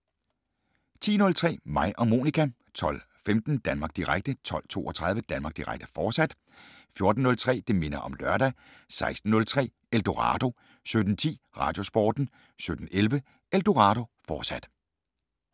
10:03: Mig og Monica 12:15: Danmark Direkte 12:32: Danmark Direkte, fortsat 14:03: Det minder om lørdag 16:03: Eldorado 17:10: Radiosporten 17:11: Eldorado, fortsat